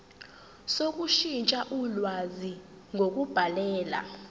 sokushintsha ulwazi ngokubhalela